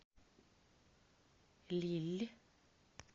лилль